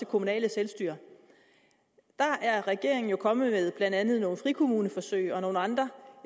kommunale selvstyre der er regeringen jo kommet med blandt andet nogle frikommuneforsøg og nogle andre